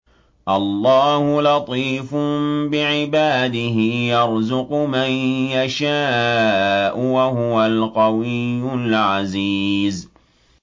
اللَّهُ لَطِيفٌ بِعِبَادِهِ يَرْزُقُ مَن يَشَاءُ ۖ وَهُوَ الْقَوِيُّ الْعَزِيزُ